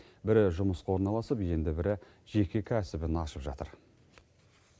бірі жұмысқа орналасып енді бірі жеке кәсібін ашып жатыр